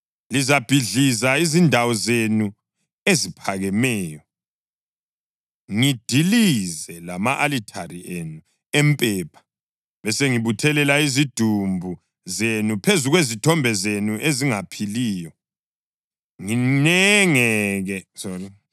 Ngizabhidliza izindawo zenu eziphakemeyo, ngidilize lama-alithare enu empepha, besengibuthelela izidumbu zenu phezu kwezithombe zenu ezingaphiliyo, nginengeke ngani.